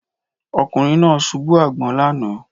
Ọkùnrin náà ṣubú àgbọn lánàá